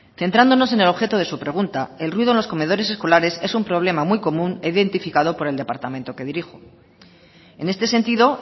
centrándonos en el objeto de su pregunta el ruido en los comedores escolares es un problema muy común e identificado por el departamento que dirijo en este sentido